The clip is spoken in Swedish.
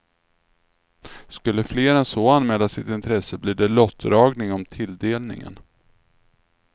Skulle fler än så anmäla sitt intresse blir det lottdragning om tilldelningen.